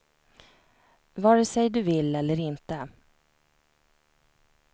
Vare sig du vill eller inte.